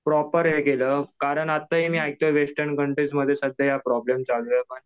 Proper हे केलं कारण आत्ता हे मी ऐकतोय वेस्टर्न कंट्रीसमध्ये प्रॉब्लेम चालू आहे.